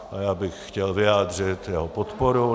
A já bych chtěl vyjádřit jeho podporu.